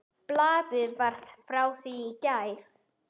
Blaðið var frá því í gær.